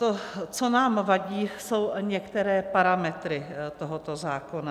To, co nám vadí, jsou některé parametry tohoto zákona.